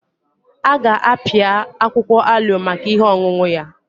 A ga-apịa akwụkwọ aloe maka ihe ọṅụṅụ ya.